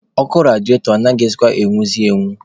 Ọkụ rediatọ anaghịkwa enwuzi enwu.